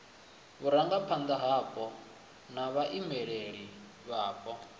vhurangaphanda hapo na vhaimeleli vhapo